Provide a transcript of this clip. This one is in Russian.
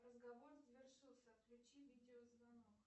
разговор завершился отключи видеозвонок